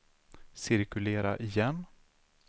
cirkulera igen